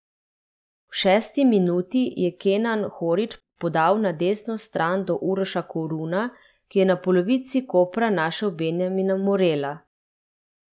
V šesti minuti je Kenan Horić podal na desno stran do Uroša Koruna, ki je na polovici Kopra našel Benjamina Morela.